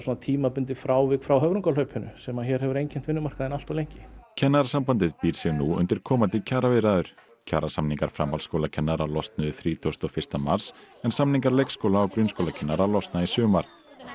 tímabundið frávik frá höfrungahlaupinu sem hér hefur einkennt vinnumarkaðinn allt of lengi Kennarasambandið býr sig nú undir komandi kjaraviðræður kjarasamningar framhaldsskólakennara losnuðu þrítugasta og fyrsta mars en samningar leikskóla og grunnskólakennara losna í sumar